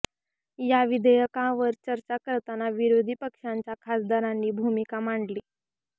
या विधेयकांवर चर्चा करताना विरोधी पक्षांच्या खासदारांनी भूमिका मांडली